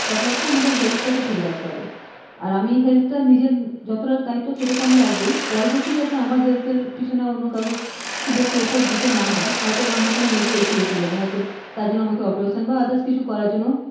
কথা হচ্ছে আমাদের health টাকে ঠিক রাখতে হবে আর আমি health নিজের যতটা দায়িত্ব সেটা রাখবোই পরবর্তীতে যাতে health এর পিছন নিয়ে কাউকে বেশি effort দিতে না হয় হয়তো আমার কোন major issue এসে গেল হয়তো তার জন্য আমাকে operation বা others কিছু করার জন্য,